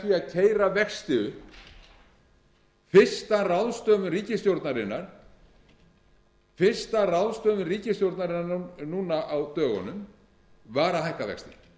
vegar með því að keyra vexti upp fyrsta ráðstöfun ríkisstjórnarinnar núna á dögunum var að hækka vexti